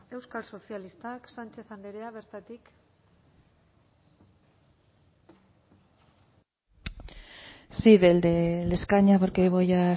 euskal sozialistak sánchez andrea bertatik sí desde el escaño porque voy a